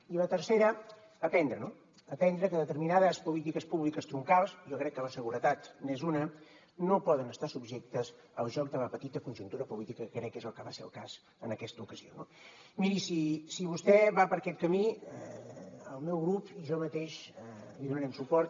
i la tercera aprendre no aprendre que determinades polítiques públiques troncals jo crec que la seguretat n’és una no poden estar subjectes al joc de la petita conjuntura política que crec que és el que va ser el cas en aquesta ocasió no miri si vostè va per aquest camí el meu grup i jo mateix li donarem suport